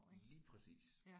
Lige præcis